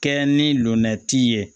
Kɛ ni lomɛtiri ye